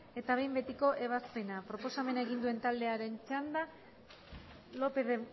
eta behin betiko ebazpena proposamena egin duen taldearen txanda lópez de